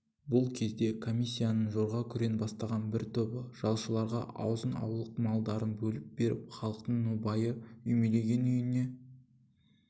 бұл кезде комиссияның жорға күрең бастаған бір тобы жалшыларға азын-аулақ малдарын бөліп беріп халықтың нобайы үймелеген үйіне